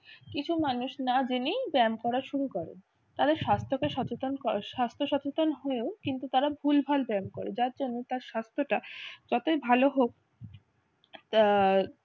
কিছু মানুষ না জেনেই ব্যায়াম করা শুরু করে তাদের স্বাস্থ্যকে সচেতন করে স্বাস্থ্য সচেতন হয়ে ও কিন্তু তারা ভুলভাল ব্যায়াম করে যার জন্য তার স্বাস্থ্যটা যতই ভালো হোক